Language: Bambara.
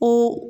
Ko